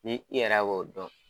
Ni yɛrɛ o dɔn